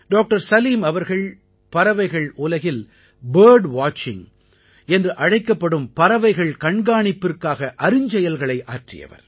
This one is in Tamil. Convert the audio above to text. டாக்டர் சலீம் அவர்கள் பறவைகள் உலகில் பர்ட் வாட்சிங் என்று அழைக்கப்படும் பறவைகள் கண்காணிப்பிற்காக அருஞ்செயல்களை ஆற்றியவர்